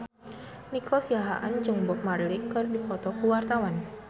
Nico Siahaan jeung Bob Marley keur dipoto ku wartawan